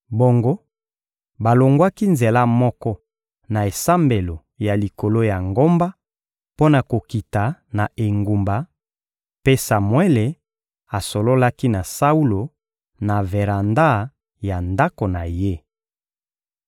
Bongo balongwaki nzela moko na esambelo ya likolo ya ngomba mpo na kokita na engumba, mpe Samuele asololaki na Saulo, na veranda ya ndako na ye.